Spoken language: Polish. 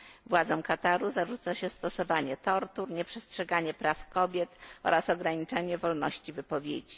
Władzom Kataru zarzuca się stosowanie tortur, nieprzestrzeganie praw kobiet oraz ograniczanie wolności wypowiedzi.